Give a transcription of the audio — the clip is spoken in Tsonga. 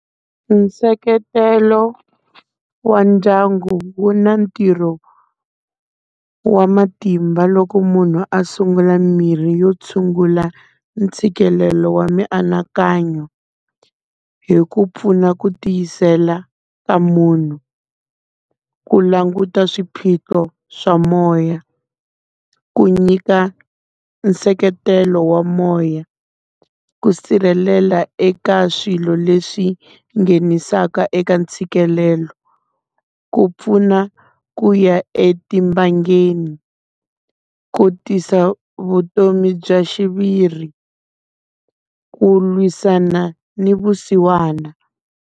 I nseketelo wa ndyangu wu na ntirho wa matimba loko munhu a sungula mimirhi yo tshungula ntshikelelo wa mianakanyo, hi ku pfuna ku tiyisela ka munhu. Ku languta swiphiqo swa moya, ku nyika nseketelo wa moya, ku sirhelela eka swilo leswi nghenisaka eka ntshikelelo, ku pfuna ku ya etibangeni, ku tisa vutomi bya xiviri, ku lwisana ni vusiwana.